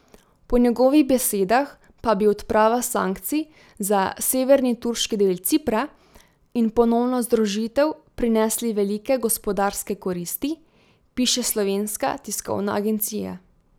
Po njegovih besedah pa bi odprava sankcij za severni, turški del Cipra, in ponovna združitev prinesli velike gospodarske koristi, piše Slovenska tiskovna agencija.